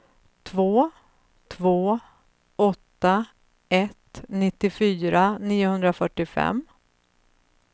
två två åtta ett nittiofyra niohundrafyrtiofem